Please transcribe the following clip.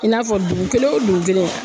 I n'a fɔ dugu kelen o dugu kelen